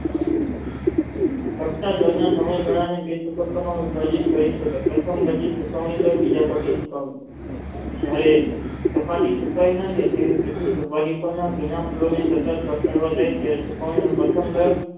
સમય ગાળાને બે તબ્બકા મા વિભાજીત કરી શકાય જયારે સપાટી સુકાય ન જાય ત્યાં સુધી સોપારી પરના જુના પ્રથમ વર્ષ